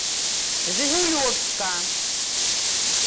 жигулевска